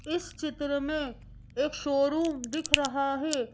इस चित्र में एक शोरूम दिख रहा है।